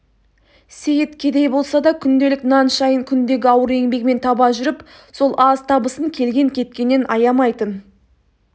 сейіт кедей болса да күнделік нан шайын күндегі ауыр еңбегімен таба жүріп сол аз табысын келген-кеткеннен аямайтын